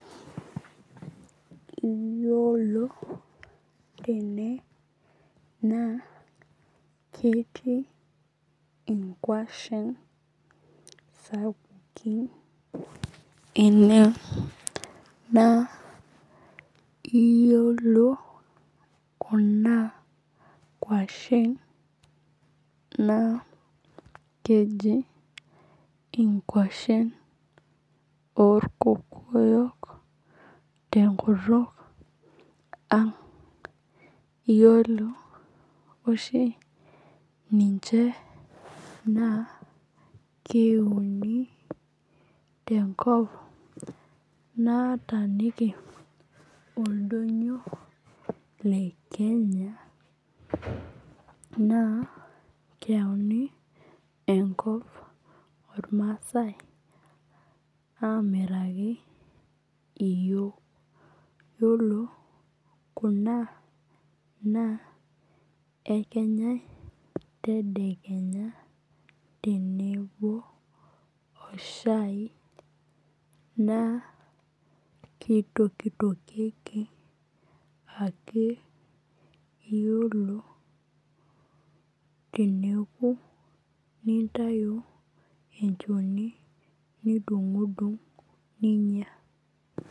Iyiolo tene naa ketii inkuashen sapukin enee naa iyiolo kuna nkuashen naa keji inkuashen orkokoyok te nkutuk ang'. Iyiolo oshi ninche naa keuoni te nkop nataaaniki oldonyo lee Kenya naa keyauni enkop ormasae amiraki iyiok. Iyiolo kuna ekenyae tedekenya tenebo oo shai naa kitokitokie ake iyiolo teneku nintayu enchoni nidung'dung' ninya.